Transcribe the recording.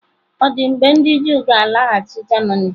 Ọ̀ dị mgbe ndị Juu ga-alaghachi Germany?